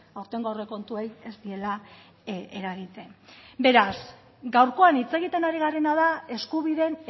aurtengo aurrekontuei ez diela eragiten beraz gaurkoan hitz egiten ari garena da eskubideen